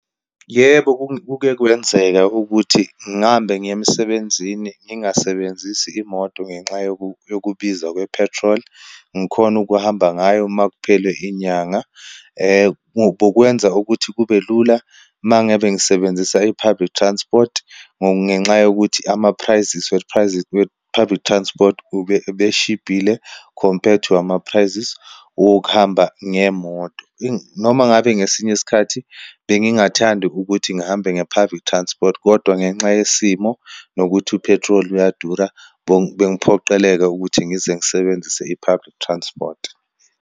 Yebo, kuke kwenzeka ukuthi ngihambe ngiye emsebenzini ngingasebenzisi imoto ngenxa yokubiza kaphethroli, ngikhone ukuhamba ngayo uma kuphela inyanga. Bokwenza ukuthi kube lula uma ngabe ngisebenzisa i-public transport ngenxa yokuthi ama-prices prices we-public transport, ubeshibhile compared to ama-prices wokuhamba ngemoto. Noma ngabe ngesinye isikhathi bengingathandi ukuthi ngihambe nge-public transport, kodwa ngenxa yesimo nokuthi uphethroli uyadura, bengiphoqeleka ukuthi ngize ngisebenzise i-public transport.